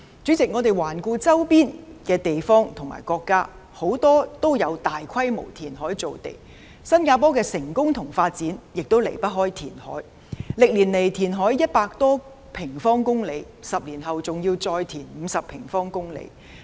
主席，環顧周邊的地方和國家，很多也有大規模填海造地，新加坡的成功與發展亦離不開填海，歷年來填海100多平方公里 ，10 年後還要再填海50平方公里。